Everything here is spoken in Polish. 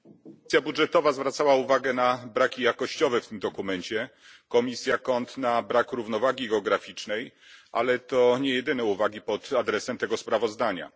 Komisja Budżetowa zwracała uwagę na braki jakościowe w tym dokumencie, komisja CONT na brak równowagi geograficznej, ale to niejedyne uwagi pod adresem tego sprawozdania.